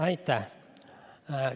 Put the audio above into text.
Aitäh!